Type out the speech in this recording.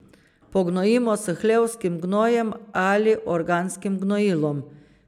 Pognojimo s hlevskim gnojem ali organskim gnojilom.